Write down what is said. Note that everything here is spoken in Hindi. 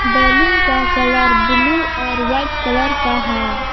बैलून का कलर ब्लू और वाइट कलर का है।